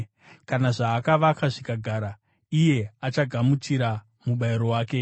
Kana zvaakavaka zvikagara, iye achagamuchira mubayiro wake.